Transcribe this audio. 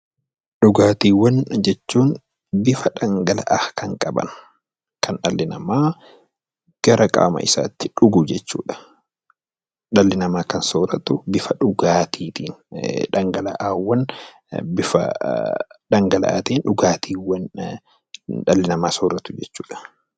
Dhugaatiiwwan jechuun bifa dhangala'aa kan qaban kan dhalli namaa gara qaama isaatti dhugu jechuudha. Dhalli namaa kan sooratu bifa dhugaatiitiin dhangala'aawwan bifa dhangala'aatiin dhugaatiiwwan dhalli namaa sooratu jechuudha.